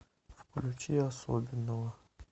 включи особенного